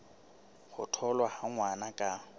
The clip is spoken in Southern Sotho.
ho tholwa ha ngwana ka